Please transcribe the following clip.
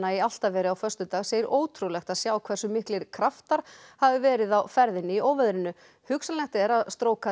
í Álftaveri á föstudag segir ótrúlegt að sjá hversu miklir kraftar hafi verið á ferðinni í óveðrinu hugsanlegt er að